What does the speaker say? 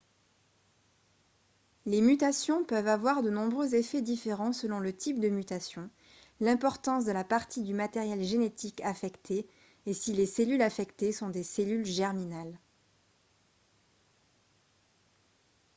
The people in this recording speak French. les mutations peuvent avoir de nombreux effets différents selon le type de mutation l'importance de la partie du matériel génétique affectée et si les cellules affectées sont des cellules germinales